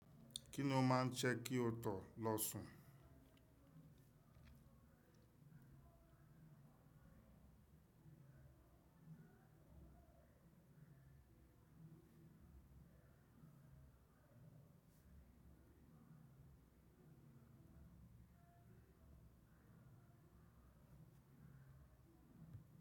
Kí lo máa ń se kí o tó lọ sùn?